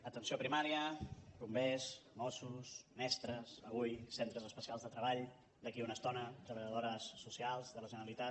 atenció primària bombers mossos mestres avui centres especials de treball d’aquí a una estona treballadores socials de la generalitat